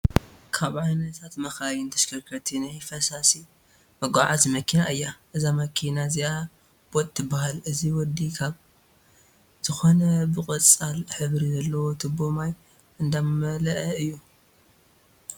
ካብ ዓይነታት መካይን(ተሽከርከርቲ) ናይ ፈሳሲ መጉዓዓዚት መኪና እያ፣ እዛ መኪና እዚኣ ቦጥ ትበሃል። እዚ ወዲ ካብ ዝኮነ ብቆፃል ሕብሪ ዘለዎ ትቦ ማይ እንዳመለኣ እዩ።